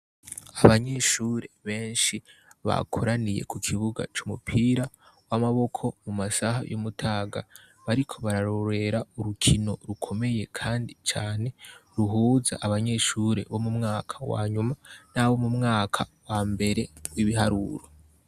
Abanyeshure benshi bakoraniye ku kibuga c'umupira w'amaboko mu masaha y'umutaga bariko bararorera urukino rukomeye kandi cane ruhuza abanyeshure bo mu mwaka nyuma n'abo wo mu mwaka wa mbere w'ibiharuro.